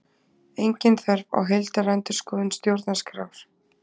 Engin þörf á heildarendurskoðun stjórnarskrár